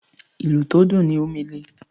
ìlù tó dùn ní Omele.